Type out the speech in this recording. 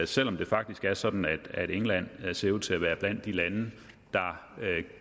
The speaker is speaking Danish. selv om det faktisk er sådan at england ser ud til at være blandt de lande der